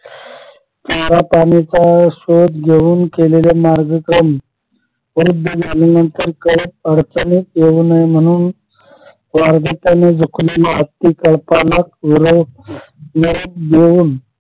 खऱ्या पाण्याचा शोध घेऊन केलेल्या मार्गक्रम कळप अडचणीत येऊ नये म्हणून झुकलेला हत्ती कळपाला